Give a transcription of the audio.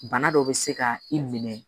Bana dɔ bɛ se ka i minɛ